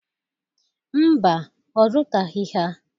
Mba, ọ zụtaghị ha.